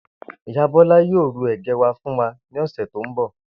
Ìyá Bó̩lá yóò ru è̩gé̩ wá fún wa ní ò̩sè̩ tó ń bò